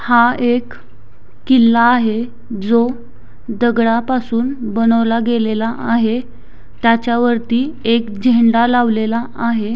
हा एक किल्ला आहे जो दगडापासून बनवला गेलेला आहे त्याच्यावरती एक झेंडा लावलेला आहे.